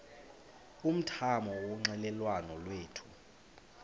umthamo wonxielelwano lwethu